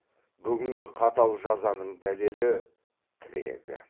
бүгінгі қатал жазаның дәлелі тірегі